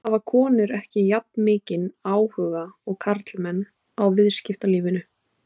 Hafa konur ekki jafnmikinn áhuga og karlmenn á viðskiptalífinu?